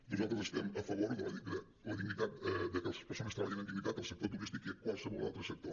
nosaltres estem a favor que les persones treballin amb dignitat al sector turístic i en qualsevol altre sector